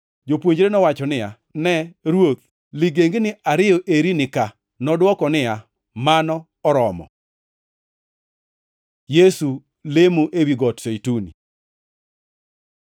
Jopuonjre nowacho niya, “Ne, Ruoth, ligengni ariyo eri ni ka.” Nodwoko niya, “Mano oromo.” Yesu lemo ewi Got Zeituni